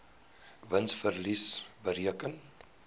wins verlies bereken